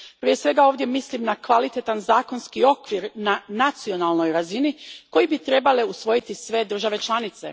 Prije svega ovdje mislim na kvalitetan zakonski okvir na nacionalnoj razini koji bi trebale usvojiti sve države članice.